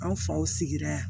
An faw sigira yan